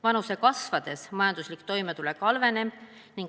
Vanuse kasvades majanduslik toimetulek halveneb.